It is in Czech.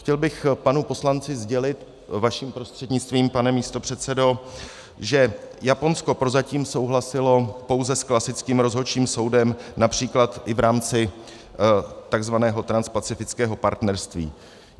Chtěl bych panu poslanci sdělit vaším prostřednictvím, pane místopředsedo, že Japonsko prozatím souhlasilo pouze s klasickým rozhodčím soudem, například i v rámci tzv. transpacifického partnerství.